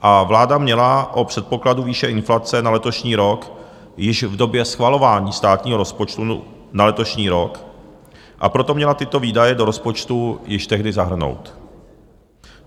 A vláda měla o předpokladu výše inflace na letošní rok již v době schvalování státního rozpočtu na letošní rok, a proto měla tyto výdaje do rozpočtu již tehdy zahrnout.